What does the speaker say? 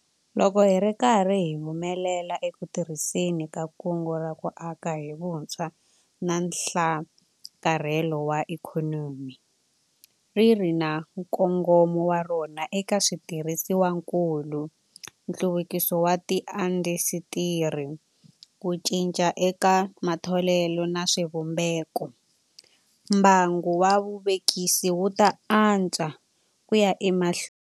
Loko hi ri karhi hi humelela eku tirhiseni ka Kungu ra ku Aka hi Vutshwa na Nhlakarhelo wa Ikhonomi ri ri na nkongomo wa rona eka switirhisiwakulu, nhluvukiso wa tiindasitiri, ku cinca eka matholelo na swivumbekombangu wa vuvekisi wu ta antswa ku ya emahlweni.